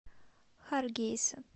харгейса